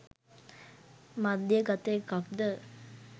මධ්‍යගත එකක්ද?